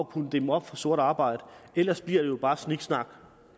kunne dæmme op for sort arbejde ellers bliver det jo bare sniksnak